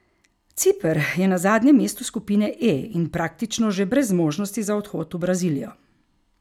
Ciper je na zadnjem mestu skupine E in praktično že brez možnosti za odhod v Brazilijo.